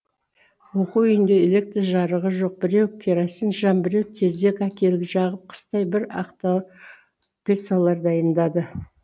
оқу үйінде электр жарығы жоқ біреу керосин шам біреу тезек әкеліп жағып қыстай бір ақтал пьесалар дайындады